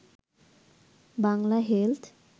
Bangla health